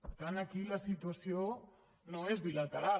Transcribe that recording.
per tant aquí la situació no és bilateral